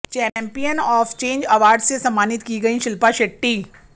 champion of change award से सम्मानित की गयी शिल्पा शेट्टी